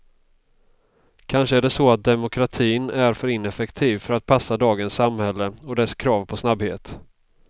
Kanske är det så att demokratin är för ineffektiv för att passa dagens samhälle och dess krav på snabbhet.